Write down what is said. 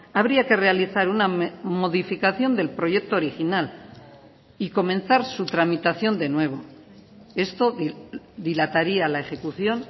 habría que realizar una modificación del proyecto original y comenzar su tramitación de nuevo esto dilataría la ejecución